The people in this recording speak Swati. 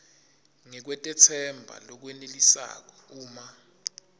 ngekutetsemba lokwenelisako uma